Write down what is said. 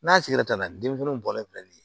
N'a sigira ka na denmisɛnninw bɔlen filɛ nin ye